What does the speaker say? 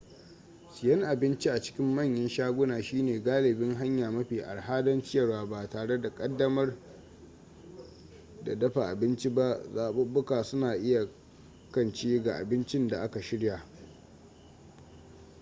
siyan abinci a cikin manyan shaguna shine galibi hanya mafi arha don ciyarwa ba tare da damar dafa abinci ba zaɓuɓɓuka suna iyakance ga abincin da aka shirya